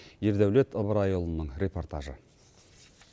ердәулет ыбырайұлының репортажы